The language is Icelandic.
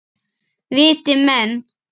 Viti menn!